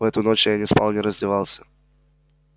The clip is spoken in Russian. в эту ночь я не спал и не раздевался